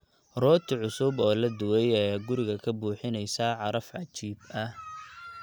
Rooti cusub oo la dubay ayaa guriga ka buuxinaysa caraf cajiib ah.